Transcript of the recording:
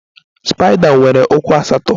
Spaida nwere ụkwụ asatọ